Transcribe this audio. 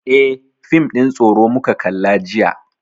Eh, fim ɗin tsoro muka kalla jiya.